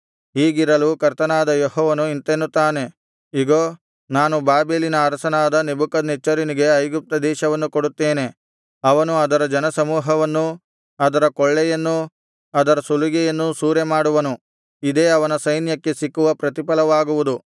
ಹೀಗಿರಲು ಕರ್ತನಾದ ಯೆಹೋವನು ಇಂತೆನ್ನುತ್ತಾನೆ ಇಗೋ ನಾನು ಬಾಬೆಲಿನ ಅರಸನಾದ ನೆಬೂಕದ್ನೆಚ್ಚರನಿಗೆ ಐಗುಪ್ತ ದೇಶವನ್ನು ಕೊಡುತ್ತೇನೆ ಅವನು ಅದರ ಜನಸಮೂಹವನ್ನೂ ಅದರ ಕೊಳ್ಳೆಯನ್ನೂ ಅದರ ಸುಲಿಗೆಯನ್ನೂ ಸೂರೆಮಾಡುವನು ಇದೇ ಅವನ ಸೈನ್ಯಕ್ಕೆ ಸಿಕ್ಕುವ ಪ್ರತಿಫಲವಾಗುವುದು